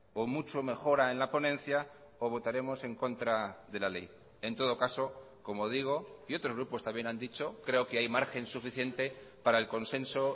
o mucho mejora en la ponencia o votaremos en contra de la ley en todo caso como digo y otros grupos también han dicho creo que hay margen suficiente para el consenso